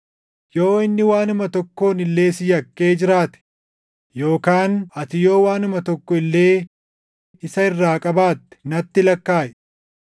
Yoo inni waanuma tokkoon illee si yakkee jiraate yookaan ati yoo waanuma tokko illee isa irraa qabaatte natti lakkaaʼi.